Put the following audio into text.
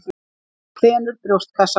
Hann þenur brjóstkassann.